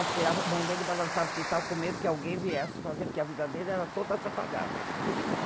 Acho que a mão dele balançava, que ele estava com medo que alguém viesse fazer, porque a vida dele era toda atrapalhada, né?